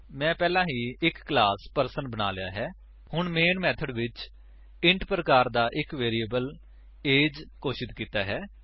ਮੈਂ ਪਹਿਲਾਂ ਹੀ ਇੱਕ ਕਲਾਸ ਪਰਸਨ ਬਣਾ ਲਿਆ ਹੈ ਹੁਣ ਮੇਨ ਮੇਥਡ ਵਿੱਚ ਇੰਟ ਪ੍ਰਕਾਰ ਦਾ ਇੱਕ ਵੇਰਿਏਬਲ ਏਜ ਘੋਸ਼ਿਤ ਕਰਦੇ ਹਾਂ